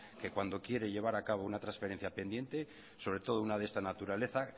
que cuando quiere llevar a cabo una transferencia pendiente sobre todo una de esta naturaleza